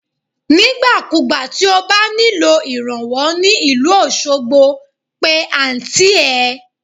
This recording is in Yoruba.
Nígbà ku gbà tí o bá nílò ìrànwọ́ ní ìlú Osogbo, pe Àǹtí ẹ.